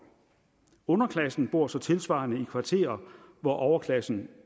underklassen bor så tilsvarende i kvarterer hvor overklassen